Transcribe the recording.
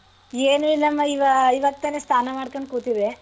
ಏನ್ ಇಲ್ಲಮಾ ಇವಾ~ ಇವಾಗ್ತಾನೆ ಸ್ನಾನ ಮಾಡ್ಕೊಂಡ್ ಕೂತಿದ್ದೆ.